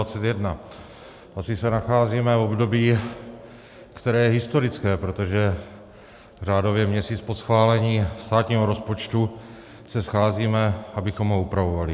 Asi se nacházíme v období, které je historické, protože řádově měsíc po schválení státního rozpočtu se scházíme, abychom ho upravovali.